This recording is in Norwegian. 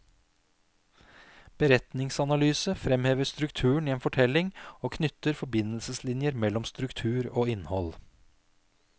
Beretningsanalyse fremhever strukturen i en fortelling og knytter forbindelseslinjer mellom struktur og innhold.